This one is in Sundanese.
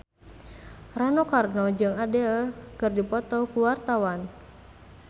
Rano Karno jeung Adele keur dipoto ku wartawan